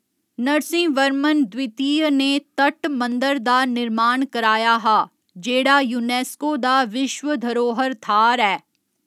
नरसिंहवर्मन द्वितीय ने तट मंदर दा निर्माण कराया हा, जेह्ड़ा यूनेस्को दा विश्व धरोह्‌र थाह्‌र ऐ।